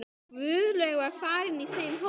Guðlaug var í þeim hópi.